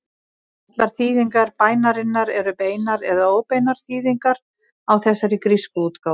Allar þýðingar bænarinnar eru beinar eða óbeinar þýðingar á þessari grísku útgáfu.